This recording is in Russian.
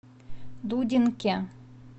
дудинке